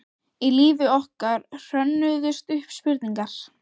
Í lífi okkar hrönnuðust upp spurningar.